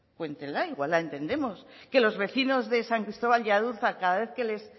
cuéntenla igual la entendemos que los vecino de san cristobal y adurza cada vez que les